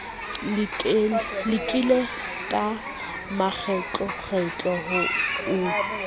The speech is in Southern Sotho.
lekile ka makgetlokgetlo ho o